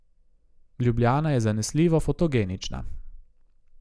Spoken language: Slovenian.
Ljubljana je zanesljivo fotogenična.